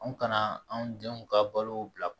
Anw kana anw denw ka balo bila